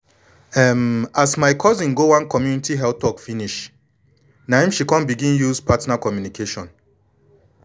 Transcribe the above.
um as my cousin go one community health talk finish na em she come begin use partner communication